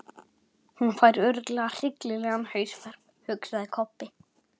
Það er engu líkara en að hún haldi þá ruglaða.